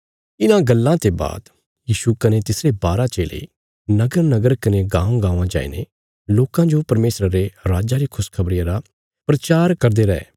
इन्हां गल्लां ते बाद यीशु कने तिसरे बारा चेले नगरनगर कने गाँवांगाँवां जाईने लोकां जो परमेशरा रे राज्जा री खुशखबरिया रा प्रचार करदे रै